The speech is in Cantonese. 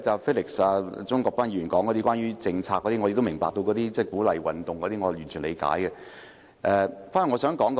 至於鍾國斌議員，他談到政策方面的問題，我明白需要鼓勵運動，我是完全理解的。